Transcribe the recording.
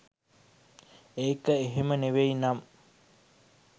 ඒක එහෙම නෙවෙයි නම්